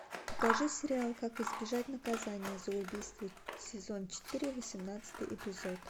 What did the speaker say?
покажи сериал как избежать наказания за убийство сезон четыре восемнадцатый эпизод